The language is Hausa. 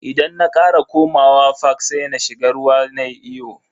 Idan na kara komawa fak sai na shiga ruwa nayi iyo.